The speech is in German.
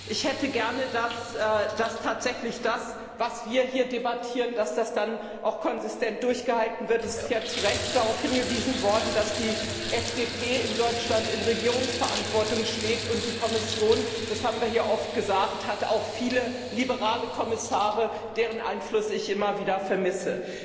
Ich hätte gerne, dass das, was wir hier debattieren, dann auch tatsächlich konsistent durchgehalten wird. Es ist zu Recht darauf hingewiesen worden, dass die FDP in Deutschland in Regierungsverantwortung steht. Und die Kommission das haben wir hier oft gesagt hat auch viele liberale Kommissare, deren Einfluss ich immer wieder vermisse.